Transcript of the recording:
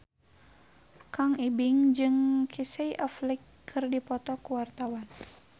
Kang Ibing jeung Casey Affleck keur dipoto ku wartawan